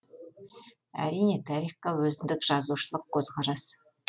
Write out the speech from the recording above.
әрине тарихқа өзіндік жазушылық көзқарас